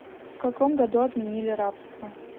в каком году отменили рабство